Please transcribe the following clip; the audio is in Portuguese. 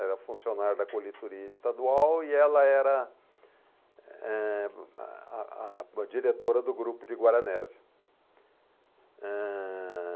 Era funcionário da coletoria estadual e ela era, eh, a a diretora do grupo de Guaranésia. Ãh...